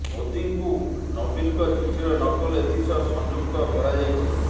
ମୋଦିଙ୍କୁ ନବୀନଙ୍କ ଚିଠିର ନକଲ ଏଥି ସହ ସଂଯୁକ୍ତ କରାଯାଇଛି